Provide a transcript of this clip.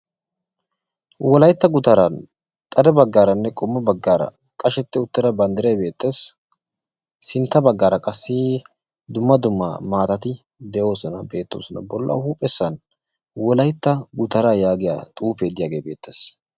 Wolaytta gutaran xade baggaaranne qommo baggaara qashsheti uttida banddiray beettees. sintta baggaara qassi dumma dumma maatatti de'oosona beettoosona. bolla huuphphessan wolaytta gutaraa yaagiyaa xuufee beettees.